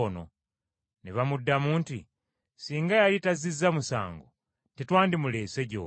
Ne bamuddamu nti, “Singa yali tazizza musango tetwandimuleese gy’oli.”